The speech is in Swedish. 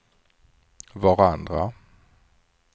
varandra